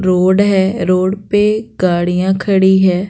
Road है road पे गाड़ियां खड़ी है।